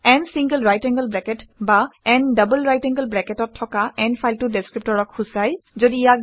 n single right angle bracket বা n double right angle bracket অত থকা n ফাইলটো ডেচক্ৰিপ্টৰক সূচায়